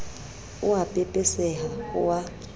o a pepeseha o a